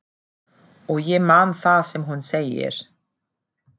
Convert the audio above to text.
Og ég man það sem hún segir.